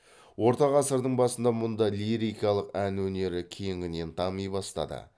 орта ғасырдың басында мұнда лирикалық ән өнері кеңінен дами бастады